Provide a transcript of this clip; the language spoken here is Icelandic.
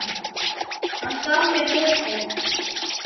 Hann gaf mér mikið.